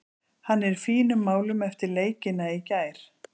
Hann er í fínum málum eftir leikina í gær.